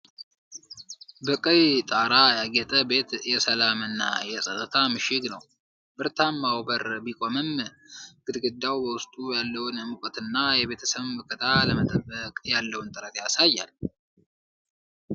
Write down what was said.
በቀይ ጣራ ያጌጠ ቤት የሰላም እና የጸጥታ ምሽግ ነው። ብረታማው በር ቢቆምም፣ ግድግዳው በውስጡ ያለውን ሙቀትና የቤተሰብ መከታ ለመጠበቅ ያለውን ጥረት ያሳያል።